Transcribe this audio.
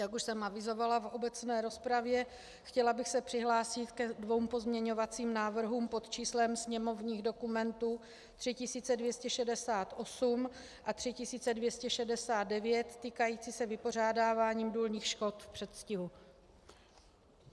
Jak už jsem avizovala v obecné rozpravě, chtěla bych se přihlásit ke dvěma pozměňovacím návrhům pod číslem sněmovních dokumentů 3268 a 3269 týkajícím se vypořádávání důlních škod v předstihu.